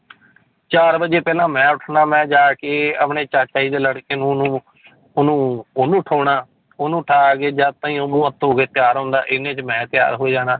ਚਾਰ ਵਜੇ ਪਹਿਲਾਂ ਮੈਂ ਉੱਠਣਾ ਮੈਂ ਜਾ ਕੇ ਆਪਣੇ ਚਾਚਾ ਜੀ ਦੇ ਲੜਕੇ ਨੂੰ ਉਹਨੂੰ ਉਹਨੂੰ ਉਹਨੂੰ ਉਠਾਉਣਾ ਉਹਨੂੰ ਉਠਾ ਕੇ ਜਦ ਤਾਈਂ ਉਹ ਮੂੰਹ ਹੱਥ ਧੋ ਕੇ ਤਿਆਰ ਹੁੰਦਾ, ਇੰਨੇ 'ਚ ਮੈਂ ਤਿਆਰ ਹੋ ਜਾਣਾ।